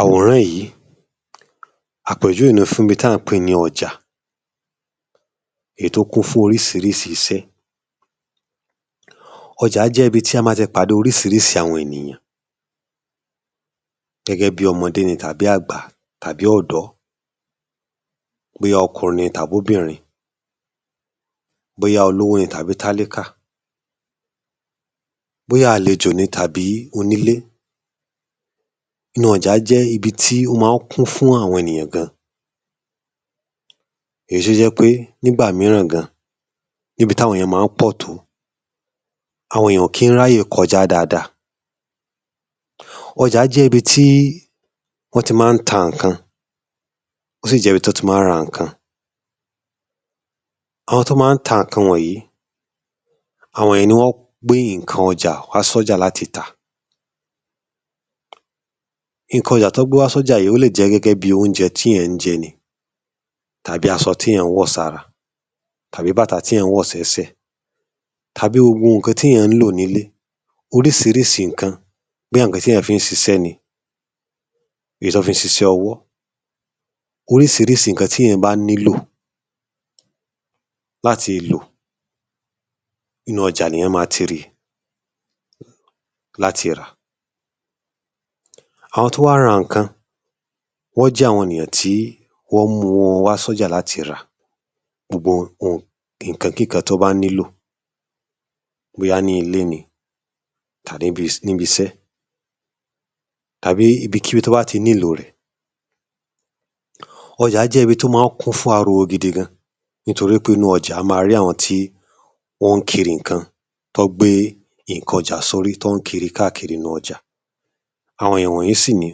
Àwòrán yìí àpèjúwe ni fún ibi ta ń pè ní ọjà èyí tó kún fún oríṣiríṣi iṣẹ́. Ọjà jẹ́ ibi a ma ti pàdé oriṣiríṣi àwọn ènìyàn gẹ́gẹ́ bí ọmọde ni tàbí àgbà tàbí ọ̀dọ́ bóyá ọkùnrin ni tàb’obìnrin, bóyá olówó ni tàbí tálíkà, bóyá àlejò ni tàbí onílé. Inú ọjà jẹ́ ibi tí ó máa ń kún fún àwọn ènìyàn gan èyí tó jẹ́ pé nígbà míràn gan níbi tí àwọn èyàn ma ń pọ̀ tó àwọn èyàn ò kí ń ráyè kọjá dáada. Ọjà jẹ́ ibi tí wọ́n ti ma ń ta ǹkan ó sì jẹ́ ibi tí wọ́n ti ma ń ra ǹkan. Àwọn tó ma ń ta ǹkan wọ̀nyí àwọn yén ni wọ́n gbé ǹkan ọjà wá sọ́jà láti tà. Ǹkan ọjà tí wọ́n gbé wá sọ́jà yí lè jẹ́ gẹ́gẹ́ bí oúnjẹ tí è ń jẹ ni tàbí aṣọ tíyàn ń wọ̀ sára tàbí bàtà tíyàn ń wọ̀ sẹ́sẹ̀ tàbí gbogbo ǹakn tíyàn ń lò nílé. Oríṣiríṣi ǹkan bóyá ǹkan tíyàn fi ń ṣiṣẹ́ ni. Èyí tí wọ́n fi ń ṣiṣẹ́ ọwọ́ oríṣiríṣi ǹkan tíyàn bá nílò láti lọ inú ọjà nìyàn ma ti ri láti rà. Àwọn tó wá ra ǹkan wọ́n jẹ́ àwọn ènìyàn tí wọ́n mú ọ wá sọ́jà láti ra gbogbo ohunkóhun ǹkan kí nkàn tí wọ́n bá nílò bóyá nílé ni àbí nih ibi iṣẹ́ tàbí ibikíbi tí wọ́n bá ti nílò rẹ̀. Ọjà jẹ́ ibi tó ma ń kún fún ariwo gidi gan nítorí pé nínú ọjà a máa rí àwọn tí wón ń kiri ǹkan tán gbé ǹkan ọjà sórí tí wọ́n ń kiri káàkiri inú ọjà àwon ìwọ̀nyí sì ni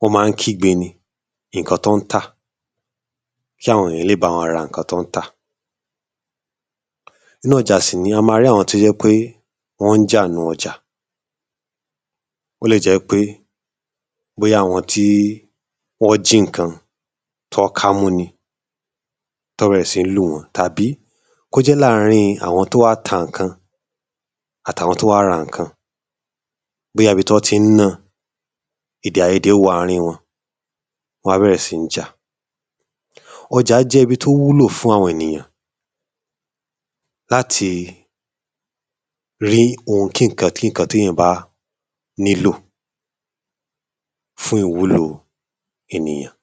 wọ́n ma ń kígbe ní ǹkan tán ń tà kí àwọn èyàn lè bá wọn ra ǹkan tán ń tà. Inú ọjà sì nì í a ma rí àwọn tó jẹ́ pé wọ́n ń jà nínú ọjà ó lè jẹ́ pé láàrin àwọn tó wá ta ǹkan àtàwọn tó wá ra ǹkan bóyá ibi tí wọ́n ti ń ná-an. Èdè-àyedè wọ àárín wọn wọ́n wá bẹ̀rẹ̀ sí ń jà. Ọjà jẹ́ ibi tó wúlò fún àwọn ènìyàn láti rí ohun-kí-ǹkan tíyàn bá nílò fún ìwuhlò ènìyàn.